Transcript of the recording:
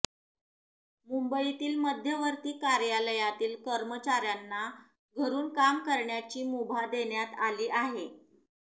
मुंबईतील मध्यवर्ती कार्यालयातील कर्मचाऱ्यांना घरून काम करण्याची मुभा देण्यात आली आहे